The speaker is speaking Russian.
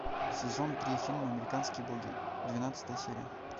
сезон три фильм американские боги двенадцатая серия